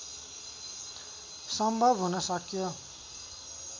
सम्भव हुन सक्यो